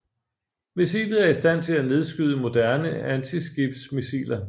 Missilet er i stand til at nedskyde moderne antiskibsmissiler